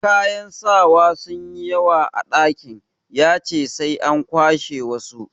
Kayan sawa sun yi yawa a dakin, ya ce sai an kwashe wasu.